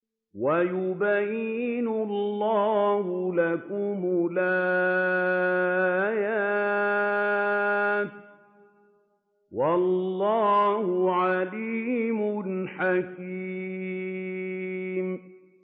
وَيُبَيِّنُ اللَّهُ لَكُمُ الْآيَاتِ ۚ وَاللَّهُ عَلِيمٌ حَكِيمٌ